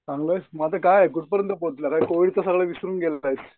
मग आता काय कुठपर्यंत पोहचलेला आहेस कोविड नंतर सगळं विसरून गेलेला आहेस.